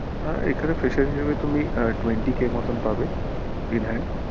আহ এখানে ফ্রেশের হিসেবে তুমি twenty k মতোন পাবে in hand